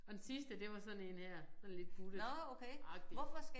Og den sidste det var sådan én her sådan lidt buttet agtig